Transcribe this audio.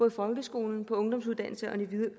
i folkeskolen på ungdomsuddannelserne